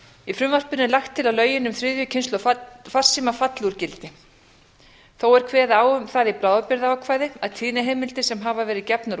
í frumvarpinu er lagt til að lögin um þriðju kynslóð falli úr gildi þó er kveðið á um það í bráðabirgðaákvæði að tíðniheimildir sem hafa verið gefnar